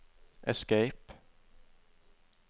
escape